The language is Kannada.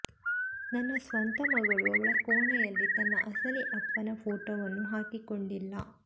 ನನ್ನ ಸ್ವಂತ ಮಗಳು ಅವಳ ಕೋಣೆಯಲ್ಲಿ ತನ್ನ ಅಸಲಿ ಅಪ್ಪನ ಫೋಟೋವನ್ನು ಹಾಕಿಕೊಂಡಿಲ್ಲ